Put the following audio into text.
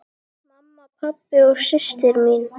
Mamma, pabbi og systir mín.